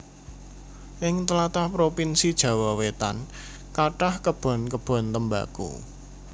Ing tlatah provinsi Jawa Wetan kathah kebon kebon tembako